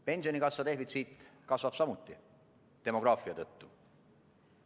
Pensionikassa defitsiit kasvab samuti, demograafia tõttu.